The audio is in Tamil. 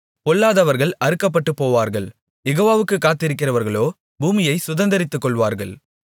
பொல்லாதவர்கள் அறுக்கப்பட்டுபோவார்கள் யெகோவாவுக்குக் காத்திருக்கிறவர்களோ பூமியைச் சுதந்தரித்துக் கொள்வார்கள்